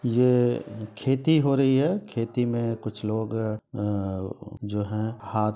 ये खेती हो रही है खेती में कुछ लोग अ जो है हाथ --